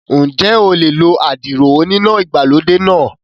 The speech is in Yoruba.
Ǹjẹ́ o lè lo àdìrò oníná ìgbàlódé náà?